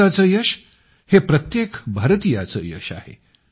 भारताचं यश हे प्रत्येक भारतीयांचं यश आहे